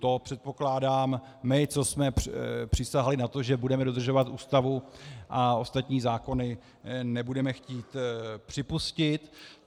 To, předpokládám, my, co jsme přísahali na to, že budeme dodržovat Ústavu a ostatních zákony, nebudeme chtít připustit.